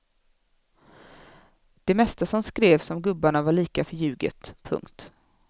Det mesta som skrevs om gubbarna var lika förljuget. punkt